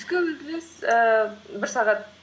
түскі үзіліс ііі бір сағат